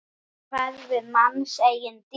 Svo hverfur manns eigin dýrð.